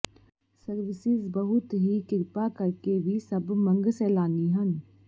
services ਬਹੁਤ ਹੀ ਕਿਰਪਾ ਕਰਕੇ ਵੀ ਸਭ ਮੰਗ ਸੈਲਾਨੀ ਹਨ